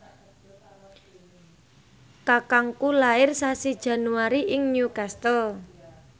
kakangku lair sasi Januari ing Newcastle